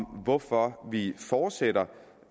om hvorfor vi fortsætter